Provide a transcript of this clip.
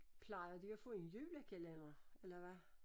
Plejer de at få en julekalender eller hvad?